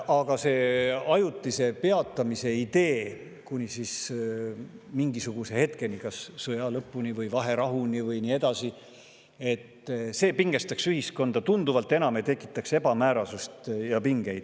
Aga idee peatada kuni mingisuguse hetkeni, kas sõja lõpuni või vaherahuni või, pingestaks ühiskonda tunduvalt enam ja tekitaks ebamäärasust ja pingeid.